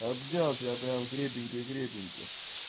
обнял тебя прям крепенько крепенько